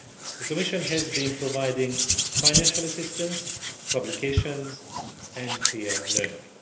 The Commission has been providing financial assistance, publications and peer learning.